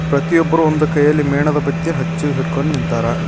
ಪ್ರತಿಯೊಬ್ಬರೂ ಒಂದು ಕೈಯಲ್ಲಿ ಮೇಣದ ಬತ್ತಿ ಹಚ್ಚಿ ಹಿಡ್ಕೊಂಡು ನಿಂತಾರ.